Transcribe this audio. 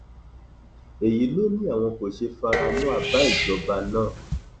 èyí ló ní àwọn kò ṣe fara mọ àbá ìjọba náà